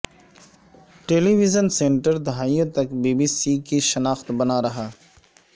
ٹیلی vision centre دہائیوں تک B B C کی شناخت بنا رہا